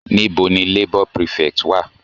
Níbo ni labour prefect wà?